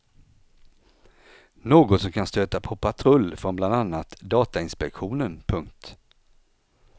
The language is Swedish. Något som kan stöta på patrull från bland annat datainspektionen. punkt